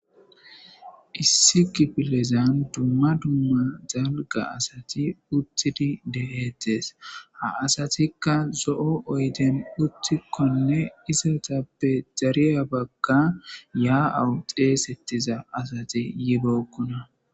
Issi kipilezan dumma dumma zalga asati uttidi de'eettees ha asatikka zo'o oyden uttikkonne isatappe dariya bagga yaa'awu xeesettiza asati yibookkona